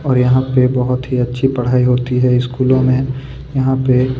और बहुत ही अच्छी पढ़ाई होती है स्कूलों में यहाँ पे--